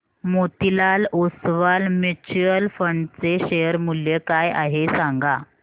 Motilal Oswal mutual fund चे share मूल्य काय आहे सांगा